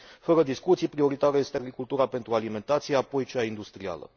Fără discuție, prioritară este agricultura pentru alimentație, apoi cea industrială.